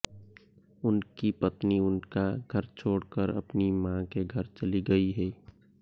उनकी पत्नी उनका घर छोड़कर अपनी मां के घर चली गई है